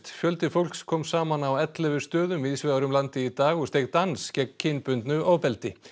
fjöldi fólks kom saman á ellefu stöðum víðsvegar um landið í dag og steig dans gegn kynbundnu ofbeldi